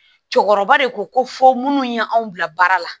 Cɛkɔrɔba de ko ko fɔ minnu ye anw bila baara la